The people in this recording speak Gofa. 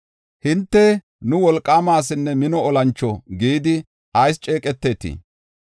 “Hinte, ‘Nu wolqaama asinne mino olancho’ gidi ayis ceeqetetii?